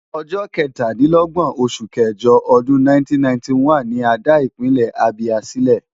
Ọjọ́ kẹtàdínlógbọ̀n oṣù kẹjọ ọdún 1991 ni a dá Ìpínlẹ̀ Abia sílẹ̀.